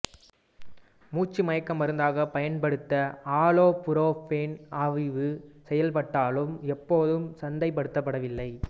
மூச்சு மயக்க மருந்தாக பயன்படுத்த ஆலோபுரோப்பேன் ஆய்வு செய்யப்பட்டாலும் எப்போதும் சந்தைப்படுத்தப்படவில்லை